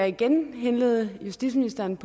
igen henlede justitsministerens